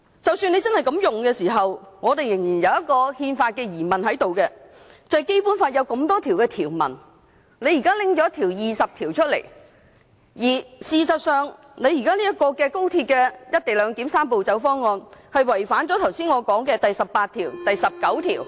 即使政府真的這樣引用條文，但我們仍有憲法上的疑問，便是政府現時在眾多《基本法》條文中引用第二十條，而現時高鐵"一地兩檢"的"三步走"方案違反了我剛才提過的第十八、十九條......